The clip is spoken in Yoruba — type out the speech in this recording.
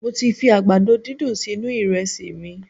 Mo ti fi àgbàdo dídùn sínú iresi mi